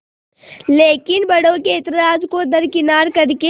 लेकिन बड़ों के ऐतराज़ को दरकिनार कर के